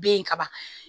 Be yen ka ban